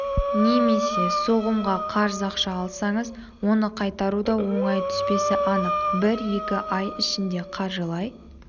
немесе соғымға қарыз ақша алсаңыз оны қайтару да оңай түспесі анық бір-екі ай ішінде қаржылай